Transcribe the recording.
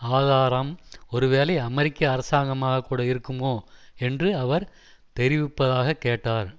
ஆதாரம் ஒருவேளை அமெரிக்க அரசாங்கமாக கூட இருக்குமோ என்று அவர் தெரிவிப்பதாகக் கேட்டார்